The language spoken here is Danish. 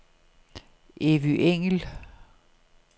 Evy Engel